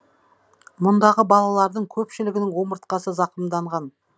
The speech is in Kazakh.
мұндағы балалардың көпшілігінің омыртқасы зақымданған